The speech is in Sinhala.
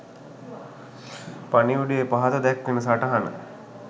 පණිවුඩයේ පහත දැක්වෙන සටහන